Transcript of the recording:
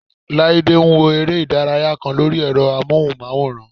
Láídé ń wo eré ìdárayá kan lórí ẹ̀rọ amóhùnmáwòrán